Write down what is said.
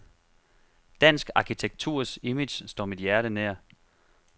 Dansk arkitekturs image står mit hjerte nær.